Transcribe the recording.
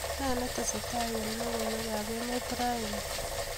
Nee netestai eng logoiwekab emetab raini